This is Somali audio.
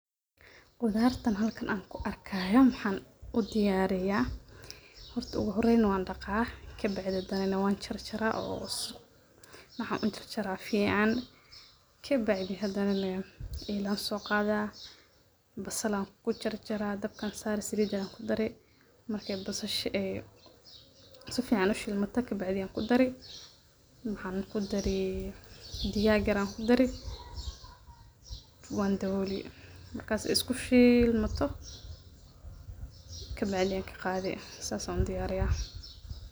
Qudartan halkan anku arkayo maxan udiyariya, horta ogu horan wan dhaqaa kabacdi na wan jarjaraa oo waxan ujarjara sii fican, kabacdi ela anso qaada, basal an kujarjara dabka ayan saari, saliida ayan kudari markay basasha si fican ushiimato kabacdi ayan kudari maxan kudaari, digaag yar anku dari wan dabooli, markas isku shiilmato kabacdi anka qaadi sas an udiyaariya